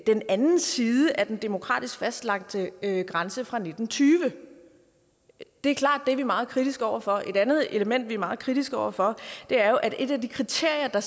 den anden side af den demokratisk fastlagte grænse fra nitten tyve det er klart at vi er meget kritiske over for det et andet element vi er meget kritiske over for er at et af de kriterier